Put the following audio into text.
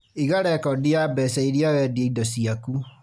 Iga rekondi ya mbeca iria wendia indo ciaku